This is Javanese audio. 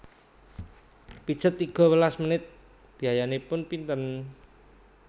Pijet tiga welas menit biayanipun pinten?